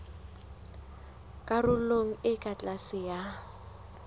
karolong e ka tlase ya